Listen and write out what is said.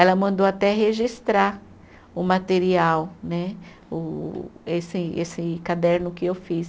Ela mandou até registrar o material né, o esse esse caderno que eu fiz.